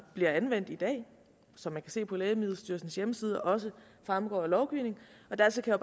bliver anvendt i dag og som man kan se på lægemiddelstyrelsens hjemmeside også fremgår af lovgivningen og dertil kan